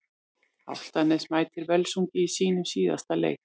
Álftanes mætir Völsungi í sínum síðasta leik.